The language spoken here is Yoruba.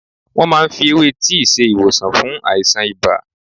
Wọ́́n máa ń fi ewé tíì ṣe ìwòsàn fún àìsàn ibà.